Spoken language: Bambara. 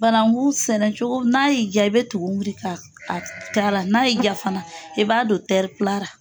Banangu sɛnɛcogo n'a y'i jaa i bɛ tugun wuri ka a k'a la n'a y'i ja fana i b'a don ra.